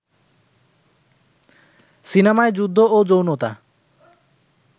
সিনেমায় যুদ্ধ ও যৌনতা